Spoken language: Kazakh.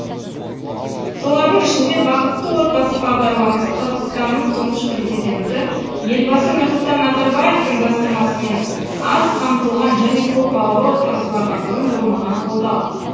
солардың ішінде бақытты отбасы бағдарламасы қазақстанның тұңғыш президенті елбасы нұрсұлтан назарбаевтың бастамасымен аз қамтылған және көпбалалы отбасыларға бұрын болмаған қолдау